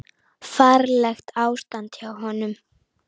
Ferlegt ástand hjá honum.